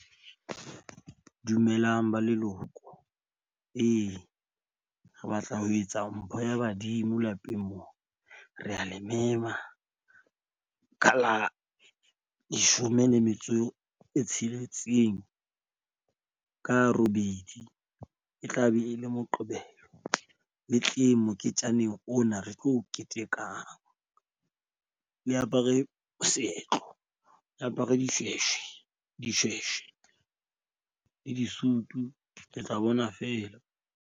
Dumelang ba leloko ee re batla ho etsa mpho ya badimo lapeng moo. Re a le mema ka la leshome le metso e tsheletseng ka robedi, e tla be e le Moqebelo le tleng moketjaneng ona. Re tlo ketekang le apare seetlo. E apare dishweshwe, dishweshwe le disutu. Le tla bona feela.